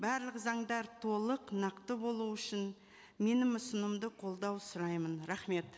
барлық заңдар толық нақты болу үшін менің ұсынымды қолдау сұраймын рахмет